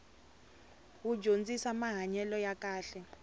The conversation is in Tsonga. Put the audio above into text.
wu dyondzisamahanyelo ya kahle